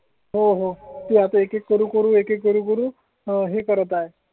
हो. त्या पैकीच करू अकरा सुरू आहे करत आहे.